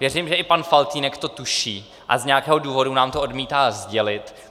Věřím, že i pan Faltýnek to tuší a z nějakého důvodu nám to odmítá sdělit.